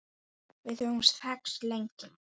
Við höfum þekkst lengi